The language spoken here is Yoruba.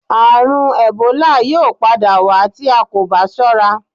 Àrùn ẹ̀bólà yóò padà wá tí a kò bá sọ́ra